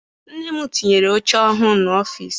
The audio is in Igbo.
Nne m tinyere oche ọhụụ n'ọfịịsi.